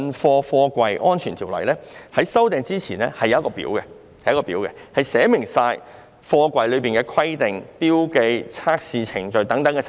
修訂前的《條例》載有附表，當中列明有關貨櫃的規定、標記及測試程序等細節。